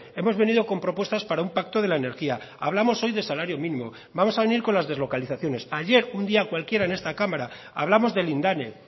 hemos venido con propuestas para un pacto de la energía hablamos hoy de salario mínimo vamos a venir con las deslocalizaciones ayer un día cualquiera en esta cámara hablamos de lindane